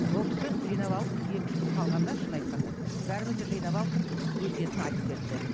ол кісі жинап алып екі үш күн қалғанда шынын айтқанда бәрімізді жинап алып тұрып өсиетін айтып кетті